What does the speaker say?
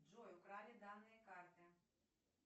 джой украли данные карты